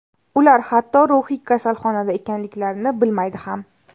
Ular hatto ruhiy kasalxonada ekanliklarini bilmaydi ham.